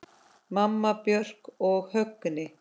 Mamma, Björk og Högni.